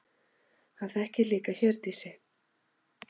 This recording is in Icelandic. Hann þekkir líka Hjördísi.